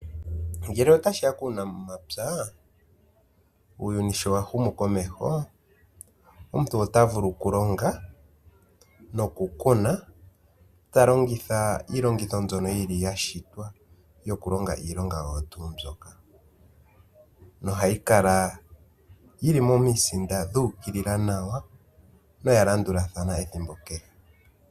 Ngele otashiya kuunamapya uuyuni showa humu komeho. Omuntu ota vulu oku longa noku kuna. Ta longitha iilongitho mbyono yili yashitwa yoku longa iilongaoyo tuu mbyoka. No hayi kala yili momisinda dhu ukili nawa noya landulathana ethimbo kehe.